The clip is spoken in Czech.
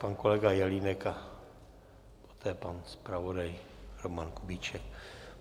Pan kolega Jelínek a poté pan zpravodaj Roman Kubíček.